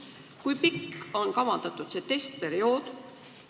Kui pikk on see kavandatud testperiood?